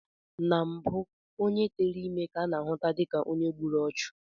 Na mbụ onye tere ime ka a na-ahụta dịka onye gburu ọchụ